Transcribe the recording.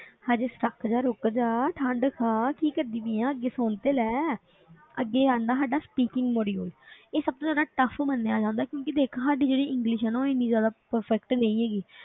ਹਜੇ ਸ਼ੱਕ ਜਾ ਰੁੱਕ ਜਾ ਠੰਢ ਖਾ ਕੀ ਕਰਦੀ ਪਈ ਆਂ ਅੱਗੇ ਸੁਣ ਤੇ ਲੈ ਅੱਗੇ ਆ ਜਾਂਦਾ ਸਾਡਾ speaking module ਇਹ ਸਭ ਤੋਂ ਜ਼ਿਆਦਾ tough ਮੰਨਿਆ ਜਾਂਦਾ ਕਿਉਂਕਿ ਦੇਖ ਸਾਡੀ ਜਿਹੜੀ english ਹੈ ਨਾ ਉਹ ਇੰਨੀ ਜ਼ਿਆਦਾ perfect ਨਹੀਂ ਹੈਗੀ,